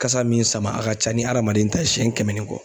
Kasa min sama a ka ca ni adamaden ta ye siɲɛ kɛmɛ ni kɔ.